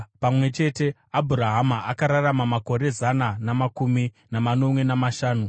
Pamwe chete, Abhurahama akararama makore zana namakumi manomwe namashanu.